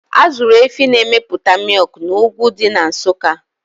Azụrụ Efi na emepụta mịkna ugwu dị na Nsụka